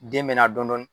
Den bɛ na dɔɔnin